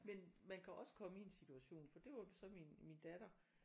Men man kan også komme i en situation for det var så min min datter